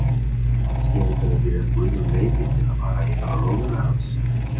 Kannski eru þeir að biðja guð um leyfi til að fara yfir lóðina hans.